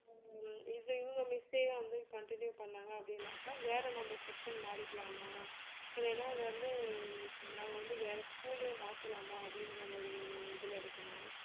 ஹம் இது இவங்க miss வா வந்து continue பண்ணாங்க அப்படின்னாக்கா வேற நம்ம section மாறிக்கலாமா இல்லைன்னா வந்து நாங்க வந்து வேற school ஏ மாத்தலாமா அப்படின்ற ஒரு இதுல இருக்கிறோம்